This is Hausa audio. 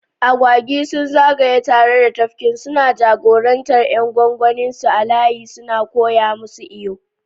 Agwagi sun zagaya tare da tafkin, suna jagorantar ƴan gwangwaninsu a layi suna koya musu iyo.